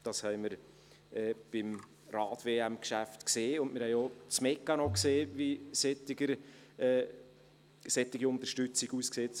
Das haben wir beim Rad-WM-Geschäft gesehen, und wir haben auch den Mechanismus gesehen, wie solche Unterstützung aussieht.